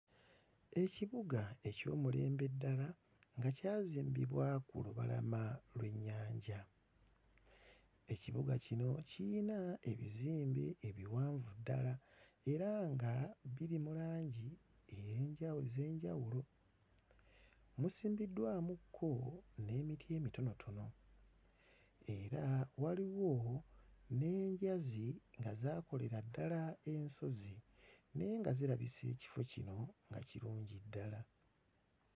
Ekibuga eky'omulembe ddala nga kyazimbibwa ku lubalama lw'ennyanja. Ekibuga kino kiyina ebizimbe ebiwanvu ddala era nga biri mu langi ey'enja... ez'enjawulo. Musimbiddwamukko n'emiti emitonotono era waliwo n'enjazi nga zaakolera ddala ensozi naye nga zirabisa ekifo kino nga kirungi ddala.